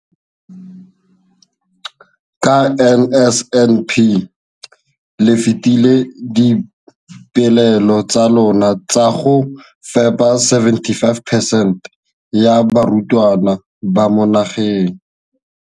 Ka NSNP le fetile dipeelo tsa lona tsa go fepa masome a supa le botlhano a diperesente ya barutwana ba mo nageng.